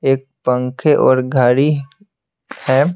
एक पंखे और घड़ी है।